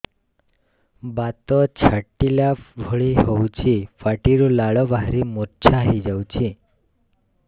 ବାତ ଛାଟିଲା ଭଳି ହଉଚି ପାଟିରୁ ଲାଳ ବାହାରି ମୁର୍ଚ୍ଛା ହେଇଯାଉଛି